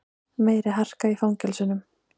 Meiri harka í fangelsunum